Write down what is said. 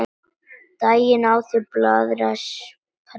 Daginn áður en blaðran sprakk.